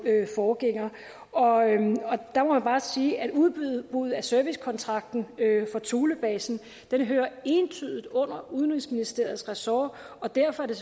forgænger og jeg må bare sige at udbuddet udbuddet af servicekontrakten for thulebasen hører entydigt under udenrigsministeriets ressort og derfor er det